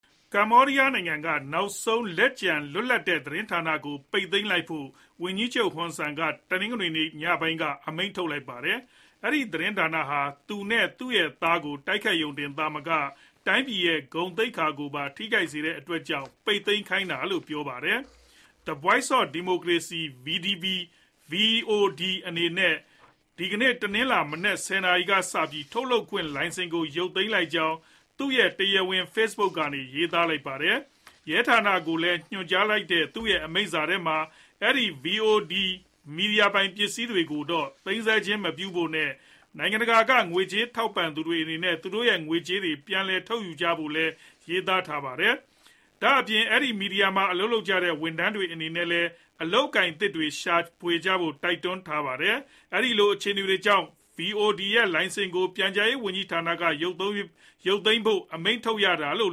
ကမ္ဘောဒီးယားနိုင်ငံက နောက်ဆုံးလက်ကျန် လွတ်လပ်တဲ့သတင်းဌာနကို ပိတ်သိမ်းလိုက်ဖို့ ဝန်ကြီးချုပ် Hun Sen က တနင်္ဂနွေနေ့ညပိုင်းက အမိန့်ထုတ်လိုက်ပါတယ်။ အဲဒီသတင်းဌာနဟာ သူနဲ့သူရဲ့သားကို တိုက်ခိုက်ရုံတင်သာမက တိုင်းပြည်ရဲ့ ဂုဏ်သိက္ခာကိုပါ ထိခိုက်စေတဲ့အတွက်ကြောင့် ပိတ်သိမ်းခိုင်းတာလို့ ပြောပါတယ်။ The Voice of Democracy VOD အနေနဲ့ ဒီကနေ့ တနင်္လာမနက် ၁ဝ နာရီကစပြီး ထုတ်လွှင့်ခွင့်လိုင်စင်ကို ရုပ်သိမ်းလိုက်ကြောင်း သူရဲ့တရားဝင် Face Book ကနေ ရေးသားထားပါတယ်။ ရဲဌာနကိုညွှန်ကြားလိုက်တဲ့ သူရဲ့အမိန့်ထဲမှာ အဲဒီ VOD မီဒီယာပိုင်ပစ္စည်းတွေကို သိမ်းဆည်းခြင်းမပြုဖို့နဲ့ နိုင်ငံတကာ ကငွေကြေးထောက်ပံ့သူတွေအနေနဲ့ သူတို့ရဲ့ ငွေကြေးတွေ ပြန်လည်ထုတ်ယူကြဖို့လည်း ရေးသားထားပါတယ်။ ဒါ့ပြင် အဲဒီမီဒီယာမှာအလုပ်လုပ်ကြတဲ့ ဝန်ထမ်းတွေအနေနဲ့လည်း အလုပ်အကိုင်အသစ်တွေ ရှာဖွေကြဖို့ တိုက်တွန်းထားပါတယ်။ အဲဒီလိုအခြေအနေတွေကြောင့် VOD ရဲ့လိုင်စင်ကို ပြန်ကြားရေးဝန်ကြီးဌာနက ရုပ်သိမ်းဖို့အမိန့်ထုတ်ရတာလို့